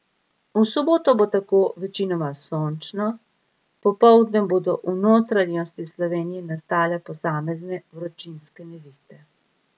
V soboto bo tako večinoma sončno, popoldne bodo v notranjosti Slovenije nastale posamezne vročinske nevihte.